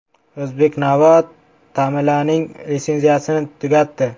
“O‘zbeknavo” Tamilaning litsenziyasini tugatdi.